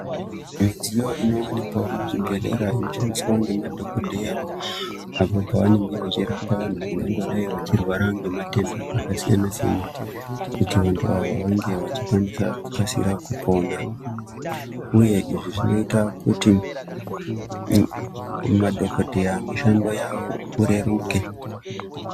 Midziyo inowanikwawo muzvibhedhlera inoshandiswa ngemadhokodheya apo pavangangodayi vachirapa vanhu vane matenda akasiyana siyana kuti vanhu ava vange vachikasika kupona uye izvi zvinoita kuti madhokodheya mishando yavo ireruke.